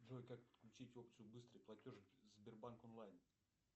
джой как подключить опцию быстрый платеж сбербанк онлайн